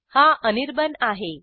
हा अनिर्बाण आहे